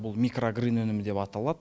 бұл микрогрин өнімі деп аталады